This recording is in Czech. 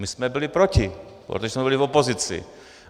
My jsme byli proti, protože jsme byli v opozici.